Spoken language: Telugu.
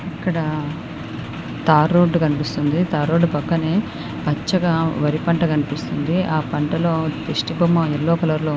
ఇక్కడ తారు రోడ్డు కనిపిస్తోంది. తారు రోడ్డు పక్కనే పచ్చగా వరిపంట కనిపిస్తుంది. ఆ పంటలో దిష్టిబొమ్మ ఎల్లో కలర్ లో --